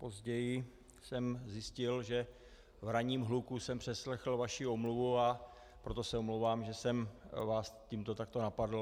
Později jsem zjistil, že v ranním hluku jsem přeslechl vaši omluvu, a proto se omlouvám, že jsem vás tímto takto napadl.